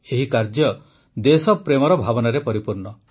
ଏହି କାର୍ଯ୍ୟ ଦେଶପ୍ରେମର ଭାବନାରେ ପରିପୂର୍ଣ୍ଣ